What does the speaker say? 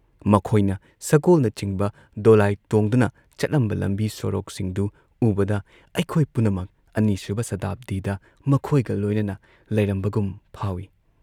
ꯃꯈꯣꯏꯅ ꯁꯒꯣꯜꯅꯆꯤꯡꯕ ꯗꯣꯂꯥꯏ ꯇꯣꯡꯗꯨꯅ ꯆꯠꯂꯝꯕ ꯂꯝꯕꯤ ꯁꯣꯔꯣꯛꯁꯤꯡꯗꯨ ꯎꯕꯗ ꯑꯩꯈꯣꯏ ꯄꯨꯝꯅꯃꯛ ꯑꯅꯤꯁꯨꯕ ꯁꯇꯥꯕꯗꯤꯗ ꯃꯈꯣꯏꯒ ꯂꯣꯏꯅꯅ ꯂꯩꯔꯝꯕꯒꯨꯝ ꯐꯥꯎꯏ